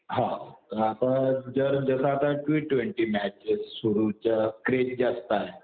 हो. तर आता जसं आता टि ट्वेन्टी मॅचेस सुरु क्रेझ जास्त आहे.